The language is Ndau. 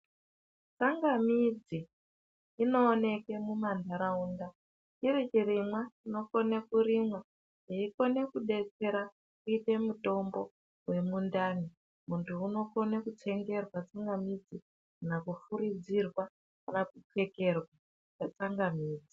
Tsangamidzi inooneke muma nharaunda chiri chirimwa chinokone kurimwa, cheikone kudetsera kuite mutombo wemundani. Muntu unokone kutsengerwa tsangamidzi, kana kufuridzirwa, kana kupfekerwa tsangamidzi.